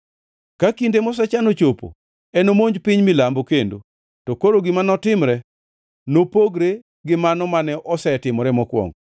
“Ka kinde mosechan ochopo, enomonj piny Milambo kendo, to koro gima notimre nopogre gi mano mane osetimore mokwongo.